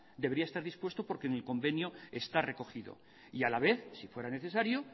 debería estar dispuesto porque en el convenio está recogido y la vez si fuera necesario